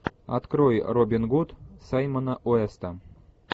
открой робин гуд саймона уэста